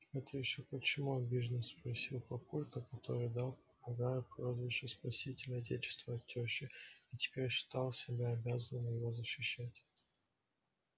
это ещё почему обиженно спросил папулька который дал попугаю прозвище спаситель отечества от тёщи и теперь считал себя обязанным его защищать